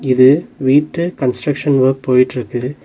இது வீட்டு construction work போயிட்ருக்கு.